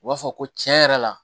U b'a fɔ ko tiɲɛ yɛrɛ la